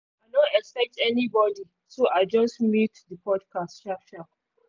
i no expect anybody so i just mute the podcast sharp sharp